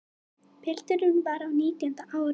Pilturinn var á nítjánda ári.